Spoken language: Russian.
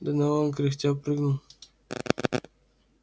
донован кряхтя прыгнул